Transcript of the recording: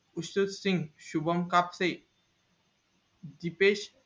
Vishu Udhin, Shubham Kapte, Hitesh